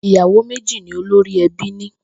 Ìyàwó méjì ni olórí e̩bí ní